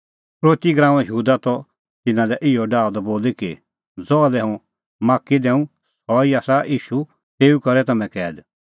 यहूदा इसकरोती त तिन्नां लै इहअ डाहअ द बोली कि ज़हा लै हुंह माख्खी दैंऊं सह ई आसा ईशू तेऊ करै तम्हैं कैद